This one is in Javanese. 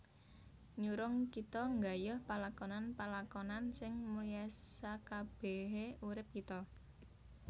Nyurung kita nggayuh palakonan palakonan sing mulyaSakabèhé urip kita